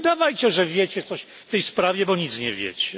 Nie udawajcie, że wiecie coś w tej sprawie, bo nic nie wiecie.